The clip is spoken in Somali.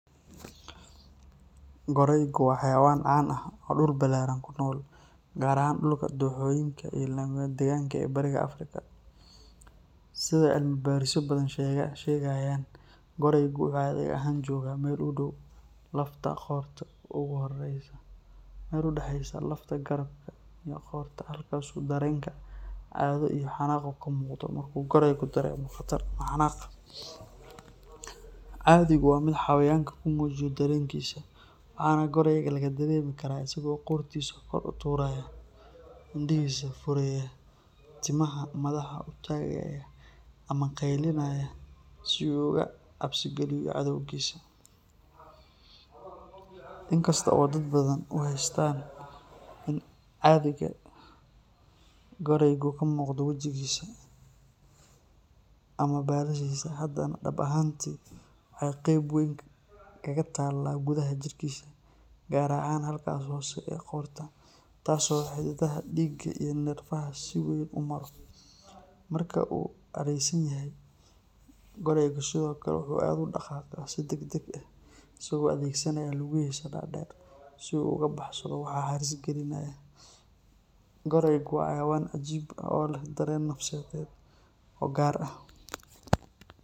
Goraygu waa xayawaan caan ah oo dhul ballaaran ku nool, gaar ahaan dhulka dooxooyinka iyo lamadegaanka ah ee bariga Afrika. Sida cilmibaarisyo badan sheegayaan, goraygu wuxuu cadhiga ahaan joogaa meel u dhow lafta qoorta ugu hooseysa, meel u dhaxaysa lafta garabka iyo qoorta, halkaas oo dareenka cadho iyo xanaaqu ka muuqdo marka uu goraygu dareemo khatar ama xanaaq. Cadhigu waa mid xayawaanku ku muujiyo dareenkiisa, waxaana gorayga laga dareemi karaa isagoo qoortiisa kor u taagaya, indhihiisa fureya, timaha madaxa u taagaya ama qeylinaya si uu uga cabsigeliyo cadawgiisa. Inkasta oo dad badan u haystaan in cadhiga goraygu ka muuqdo wejigiisa ama baalashiisa, haddana dhab ahaantii waxay qayb weyn kaga taalaa gudaha jirkiisa, gaar ahaan halkaas hoose ee qoorta, taas oo xididada dhiigga iyo neerfayaasha si weyn u maro. Marka uu cadhaysan yahay, goraygu sidoo kale wuxuu aad u dhaqaaqaa si degdeg ah, isagoo adeegsanaya lugihiisa dhaadheer si uu uga baxsado waxa halis gelinaya. Goraygu waa xayawaan cajiib ah oo leh dareen nafsiyeed oo gaar ah.